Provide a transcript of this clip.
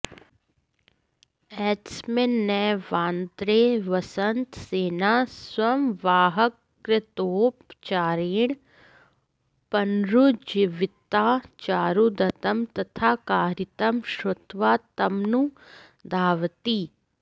एतस्मिन्नेवान्तरे वसन्तसेना संवाहककृतोपचारेण पॅनरुज्जीविता चारुदत्तं तथाकारितं श्रुत्वा तमनुधावति